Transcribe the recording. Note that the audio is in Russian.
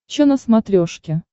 че на смотрешке